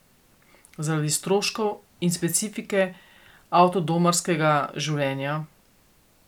Zaradi stroškov in specifike avtodomarskega življenja.